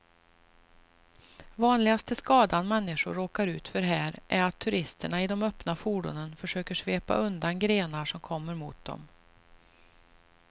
Vanligaste skadan människor råkar ut för här är att turisterna i de öppna fordonen försöker svepa undan grenar som kommer mot dem.